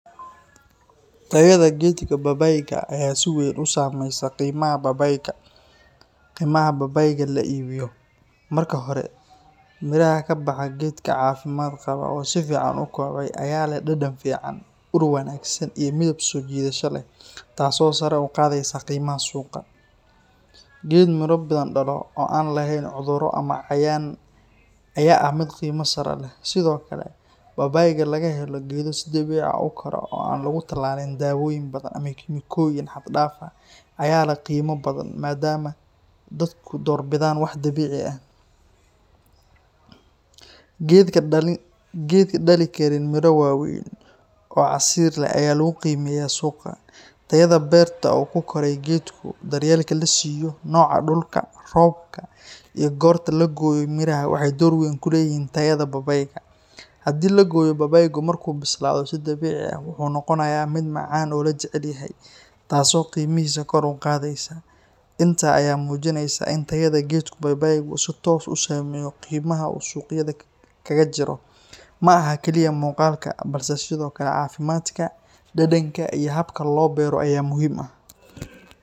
Tayada geedka babaayga ayaa si weyn u saamaysa qiimaha babaayga la iibiyo. Marka hore, midhaha ka baxa geedka caafimaad qaba oo si fiican u kobcay ayaa leh dhadhan fiican, ur wanaagsan iyo midab soo jiidasho leh, taasoo sare u qaadaysa qiimaha suuqa. Geed miro badan dhalo oo aan lahayn cudurro ama cayayaan ayaa ah mid qiimo sare leh. Sidoo kale, babaayga laga helo geedo si dabiici ah u kora oo aan lagu tallalin dawooyin badan ama kiimikooyin xad dhaaf ah ayaa leh qiimo badan maadaama dadku doorbidaan wax dabiici ah. Geedka dhalin kara miro waaweyn oo casiir leh ayaa lagu qiimeeyaa suuqa. Tayada beerta uu ku koray geedku, daryeelka la siiyo, nooca dhulka, roobka, iyo goorta la gooyo midhaha waxay door weyn ku leeyihiin tayada babaayga. Haddii la gooyo babaayga markuu bislaado si dabiici ah, wuxuu noqonayaa mid macaan oo la jecel yahay, taasoo qiimihiisa kor u qaadaysa. Intaas ayaa muujinaysa in tayada geedka babaaygu si toos ah u saameyso qiimaha uu suuqyada kaga jiro. Ma aha kaliya muuqaalka, balse sidoo kale caafimaadka, dhadhanka iyo habka loo beero ayaa muhiim ah.